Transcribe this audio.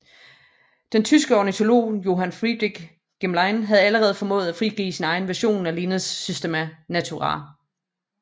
Den tyske ornitolog Johann Friedrich Gmelin havde allerede formået at frigive sin egen version af Linnés Systema Naturae